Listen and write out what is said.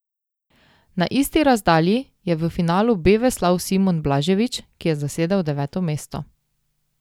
Na isti razdalji je v finalu B veslal Simon Blažević, ki je zasedel deveto mesto.